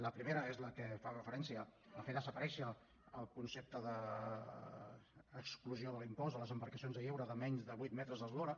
la primera és la que fa referència a fer desaparèixer el concepte d’exclusió de l’impost de les embarcacions de lleure de menys de vuit metres d’eslora